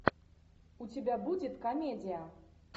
у тебя будет комедия